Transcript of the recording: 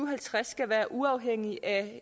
og halvtreds skal være uafhængige af